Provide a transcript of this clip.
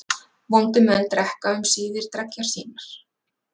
Vondir menn drekka um síðir dreggjar sínar.